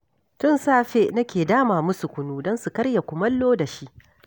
Tun safe nake dama musu kunu don su karya kumallo da shi